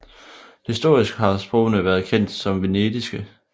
Historisk har sprogene været kendt som vendiske